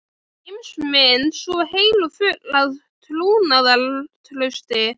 Heimsmynd svo heil og full af trúnaðartrausti.